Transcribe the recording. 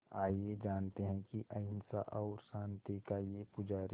आइए जानते हैं कि अहिंसा और शांति का ये पुजारी